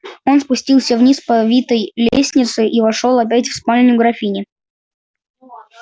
он спустился вниз по витой лестнице и вошёл опять в спальню графини